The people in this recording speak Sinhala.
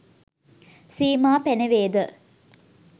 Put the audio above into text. සීමා පැනවේ ද